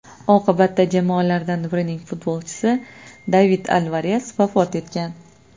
Oqibatda jamoalardan birining futbolchisi David Alvares vafot etgan.